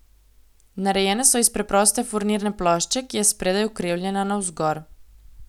Narejene so iz preproste furnirne plošče, ki je spredaj ukrivljena navzgor.